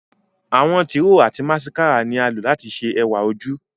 Àwọn tiro ati masikara ni a lo lati ṣe ẹwa oju